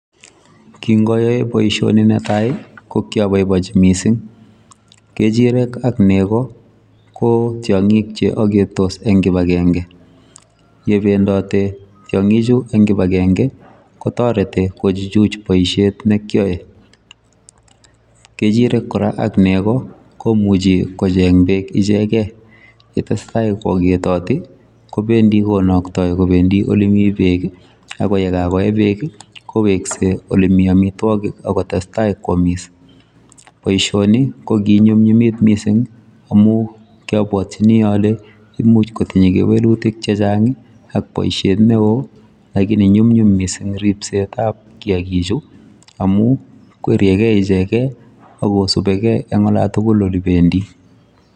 kingoyoe boishoni netaii ko kyoboibonchi mising, kechirek ak nego koo tyongiik cheogetos en kibagenge yee bendote tyongiik chu en kibagenge kotoreti kochuchu boisyeet nekyoee, kechirek koraa ak negoo komuche kocheng beek ichegei yetesetai kwogetoti kobendii konoktoi kobendii olemii beek iih ak yegabogoee beek iih koweske olemii omitwogik ak kotestai kwomiss, boishoni koginyumnyumit kot mising omun kyobotyinii ole imuch kotinye kewelutik chechang iih ak boisheet neoo lakini nyumnyum kot mising ripseet ab kiagiik chu omuu kweriyegee icheget agosubegee en olotugul olebendii